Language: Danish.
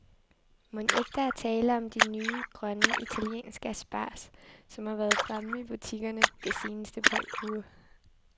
Mon ikke der er tale om de nye, grønne, italienske asparges, som har været fremme i butikkerne det seneste par uger.